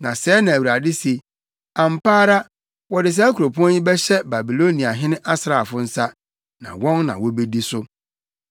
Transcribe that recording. Na sɛɛ na Awurade se, ‘Ampa ara, wɔde saa kuropɔn yi bɛhyɛ Babiloniahene asraafo nsa, na wɔn na wobedi so.’ ”